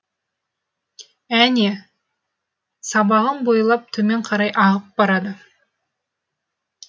әне сабағын бойлап төмен қарай ағып барады